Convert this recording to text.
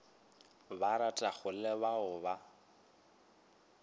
ba ratago le ba o